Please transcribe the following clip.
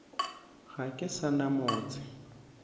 ga ke sa na motse